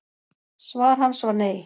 Svar hans var nei.